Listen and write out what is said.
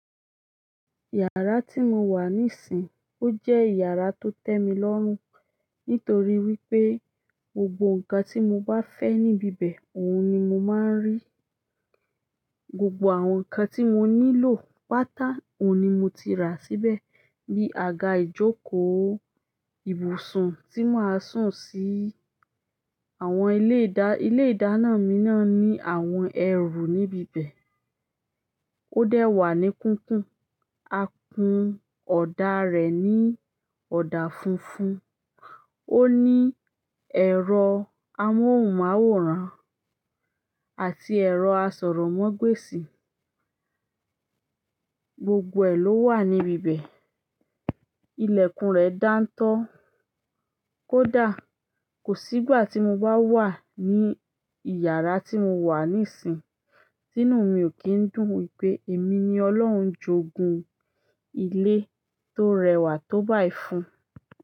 Yàrá tí mo wà níìsín, ó jẹ́ yàrá tó tẹ́ mi lọ́run. Nítorí wípé, gbogbo ǹkan tí mo bá fẹ́ níbí bẹ̀, òun ni mo máa ń rí. Gbogbo àwọn nkan ti mo nílò pata oun ni moti ra síbẹ̀. Bí àga ìjókòó, ibùsùn tí màá sùn sí, àwọn ilé ìdá. Ilé ìdáná mi náà ní àwọn ẹrù níbí bẹ̀. Ó dẹ́wà ní kúkún, a kun ọ̀dà rẹ̀ ní ọ̀dà funfun. Ó ní ẹ̀rọ amóhùnmáwòrán àti ẹ̀rọ asọ̀rọ̀mágbèsì. Gbogbo ẹ ló wà níbí bẹ̀. Ilekun re danto kódà. Kò sígbà tí mo bá wà ní ìyàrá tí mo wà níìsín, tí inú mi ò kín dùn wípé èmi ni Ọlọ́run jogun ilé tó rẹwà tó báì fún.